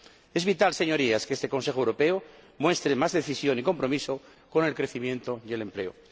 Es vital, Señorías, que este Consejo Europeo muestre más decisión y compromiso con el crecimiento y el empleo.